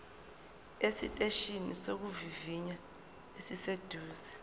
esiteshini sokuvivinya esiseduze